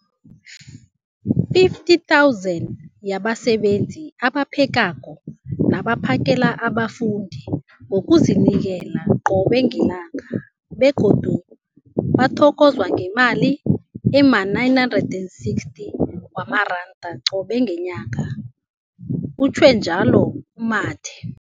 50 000 zabasebenzi abaphekako nabaphakela abafundi ngokuzinikela qobe ngelanga, begodu bathokozwa ngemali ema-960 wamaranda qobe ngenyanga, utjhwe njalo u-Mathe.